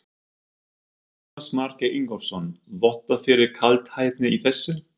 Jónas Margeir Ingólfsson: Vottar fyrir kaldhæðni í þessu?